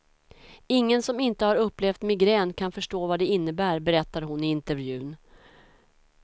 Ingen som inte har upplevt migrän kan förstå vad det innebär, berättar hon i intervjun.